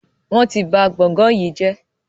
wón tí bá gboôgan yí jé.